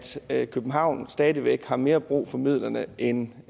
at københavn stadig væk har mere brug for midlerne end